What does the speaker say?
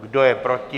Kdo je proti?